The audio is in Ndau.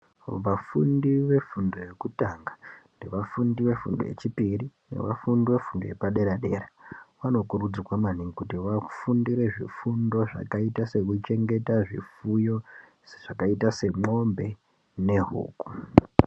Vafundi vefundo yekutanga, nevafundi vefundo yechipiri, nevafundi vefundo yepaderadera vanokurudzirwa maningi kuti vafundire zvakaita sekuchengeta zvifuyo, sezvakaita semombe nehuku.